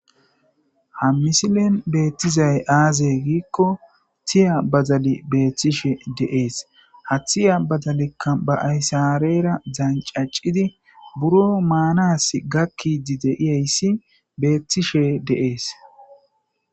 ha misilen beettizay aaze giikko tiya bazali beeththishe deees ha thiya bazalekka ba aysareera dzancacidi buro maanas gakkidi deiyayssi beethtishe de7ees